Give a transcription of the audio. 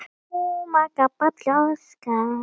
Hún Raggý er dáin.